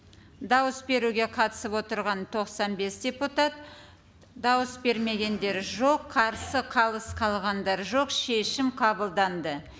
дауыс беруге қатысып отырған тоқсан бес депутат дауыс бермегендер жоқ қарсы қалыс қалғандар жоқ шешім қабылданды